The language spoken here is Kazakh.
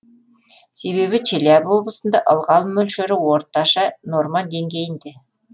себебі челябі облысында ылғал мөлшері орташа норма денгейінде